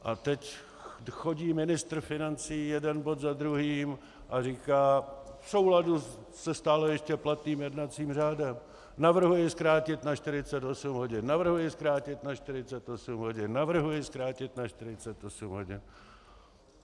A teď chodí ministr financí jeden bod za druhým a říká v souladu se stále ještě platným jednacím řádem: navrhuji zkrátit na 48 hodin, navrhuji zkrátit na 48 hodin, navrhuji zkrátit na 48 hodin.